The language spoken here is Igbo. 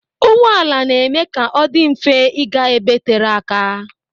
Ụgbọala na-eme ka ọ dị mfe ịga ebe tere aka.